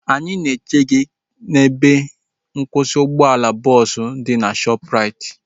Anyị na eche gị n'ebe nkwụsị ụgbọala bọọsu dị na Shoopu raiti